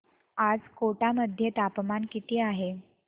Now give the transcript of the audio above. आज कोटा मध्ये तापमान किती आहे